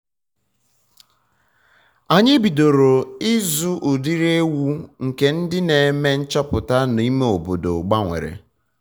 anyị bidoro ịzụ udiri ewu nke ndị na-eme nchọpụta na na ime obodo gbanwere